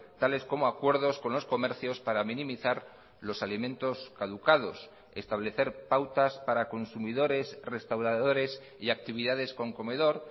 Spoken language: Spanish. tales como acuerdos con los comercios para minimizar los alimentos caducados establecer pautas para consumidores restauradores y actividades con comedor